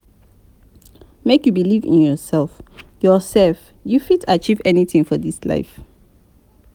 Make you believe in yoursef, yoursef, you fit achieve anytin for dis life.